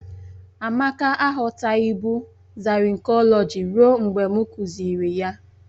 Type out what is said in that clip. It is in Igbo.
Amake aghọtaghịbụ zarinkọlọji ruo mgbe m kuziri ya